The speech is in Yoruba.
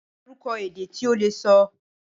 Dárúkọ ède tí o le sọ.